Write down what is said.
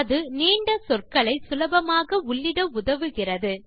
அது நீண்ட சொற்களை சுலபமாக உள்ளிட உதவுகிறது